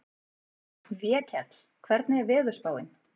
Vékell, hvernig er veðurspáin?